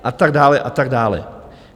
A tak dále, a tak dále.